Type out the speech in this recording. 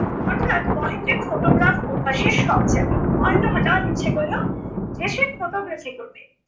হঠাৎ মহেন্দ্রের photograph অভ্যাসের শখ চাপিলো। মহেন্দ্র হঠাৎ ইচ্ছা করলো যে সে photography করবে